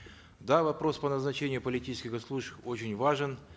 да вопрос по назначению политических госслужащих очень важен